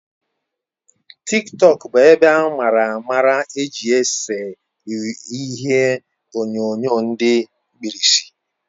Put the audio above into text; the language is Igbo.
TikTọk bụ ebe amara amara eji ese ihie onyonyo di mkpirisi